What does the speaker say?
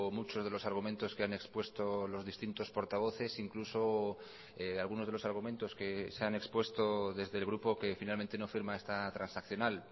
muchos de los argumentos que han expuesto los distintos portavoces incluso algunos de los argumentos que se han expuesto desde el grupo que finalmente no firma esta transaccional